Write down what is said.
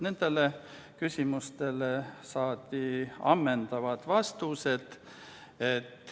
Nendele küsimustele saadi ammendavad vastused.